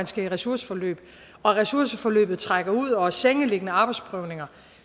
skal i ressourceforløb og ressourceforløbet trækker ud og om sengeliggende arbejdsprøvninger